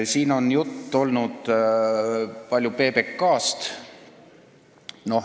Siin on palju juttu olnud PBK-st.